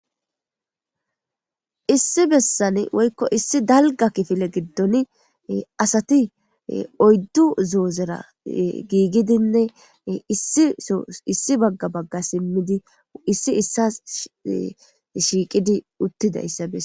Issi bessan woykko issi dalga kifile giddon asati oyddu zoozera giigidinne issiso issi bagga bagga simmidi issi issas shiiqidi uttidayssa besa